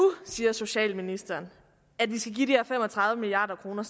siger socialministeren at vi skal give de her fem og tredive milliard kroner